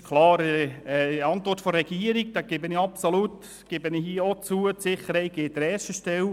Es steht klar in der Antwort der Regierung, dass die Sicherheit an erster Stelle steht.